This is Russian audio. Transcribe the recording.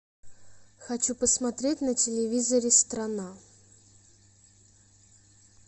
хочу посмотреть на телевизоре страна